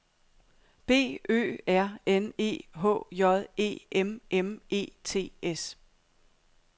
B Ø R N E H J E M M E T S